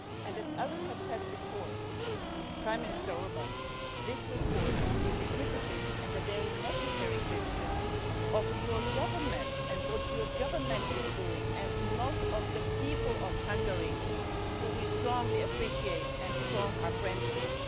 As others have said before, Prime Minister Orban, this report is a criticism and a very necessary criticism, of your government and what your government is doing and not of the people of Hungary, whom we strongly appreciate and are friends with.